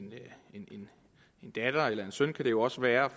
en datter eller en søn kan det jo også være